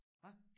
Hva